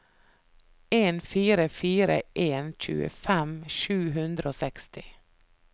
en fire fire en tjuefem sju hundre og seksti